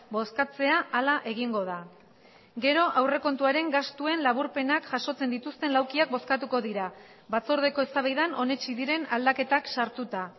bozkatzea hala egingo da gero aurrekontuaren gastuen laburpenak jasotzen dituzten laukiak bozkatuko dira batzordeko eztabaidan onetsi diren aldaketak sartuta